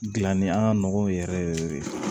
Gilanni an ka nɔgɔ yɛrɛ yɛrɛ de